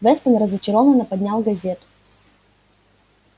вестон разочарованно поднял газету